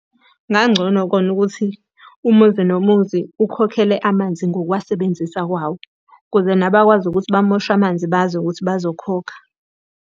Kungangcono kona ukuthi umuzi nomuzi ukhokhele amanzi ngokuwasebenzisa kwawo. Ukuze nabakwazi ukuthi bamoshe amanzi bazi ukuthi bazokhokha.